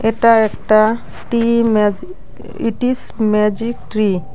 এটা একটা টি magic it is magic tree.